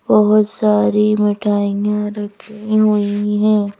बहुत सारी मिठाइयां रखी हुई हैं।